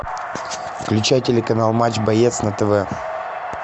включай телеканал матч боец на тв